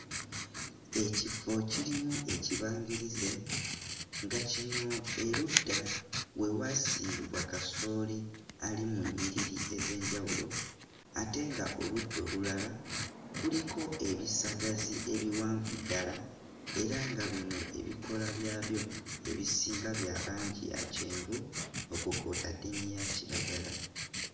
Ekifo kirimu ekibangirize nga kino erudda we waasimbibwa kasooli ali mu nnyiriri ez'enjawulo ate nga oludda olulala kuliko ebisagazi ebiwanvu ddala era nga bino ebikoola byabyo ebisinga bya langi ya kyenvu okwo kw'otadde n'eya kiragala.